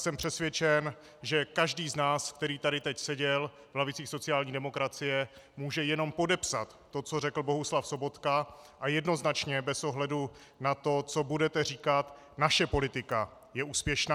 Jsem přesvědčen, že každý z nás, který tady teď seděl v lavicích sociální demokracie, může jenom podepsat to, co řekl Bohuslav Sobotka, a jednoznačně bez ohledu na to, co budete říkat, naše politika je úspěšná.